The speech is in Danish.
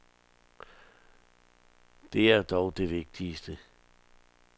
Det er dog det vigtigste.